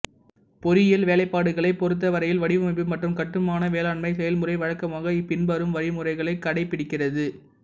பொறியியல் வேலைப்பாடுகளைப் பொருத்தவரையில் வடிவமைப்பு மற்றும் கட்டுமான மேலாண்மை செயல்முறை வழக்கமாக இப்பின்வரும் வழிமுறைகளைக் கடைப்பிடிக்கிறது